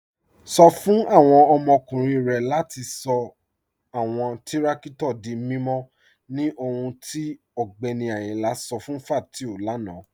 Sọ̀ fún awọn ọmọkùnrin rẹ̀ latí sọ̀ awọn tìrakítò dí mímọ̀ ní ọ̀hùn tí Ọgbẹ́ni Ayínla sọ̀ fún Fátíù lánà.